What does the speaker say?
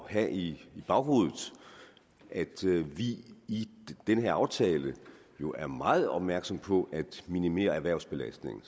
at have i baghovedet at vi i den her aftale jo er meget opmærksom på at minimere erhvervsbelastningen